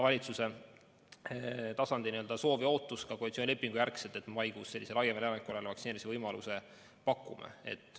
Valitsuse tasandil oli soov ja ka koalitsioonilepingujärgselt ootus, et maikuus me laiemale elanikkonnale vaktsineerimise võimaluse pakume.